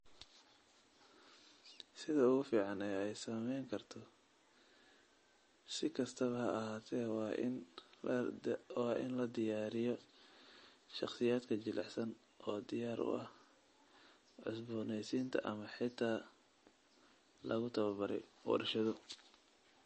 Sida ugu fiican ee ay samayn karto, si kastaba ha ahaatee, waa in la diyaariyo shakhsiyaadka jilicsan oo diyaar u ah cusboonaysiinta ama xitaa lagu tababaray warshado.